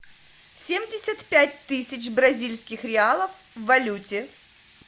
семьдесят пять тысяч бразильских реалов в валюте